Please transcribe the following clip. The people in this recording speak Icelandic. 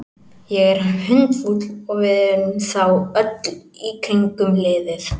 Ég er hundfúll og við erum það öll í kringum liðið.